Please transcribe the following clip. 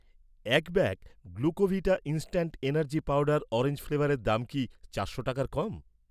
এক bag Glucovita instant energy powder orange ফ্লেভারের দাম কি চারশো টাকার কম?